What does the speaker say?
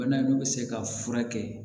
Bana n'u bɛ se ka furakɛ